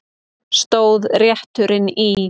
Stóð rétturinn í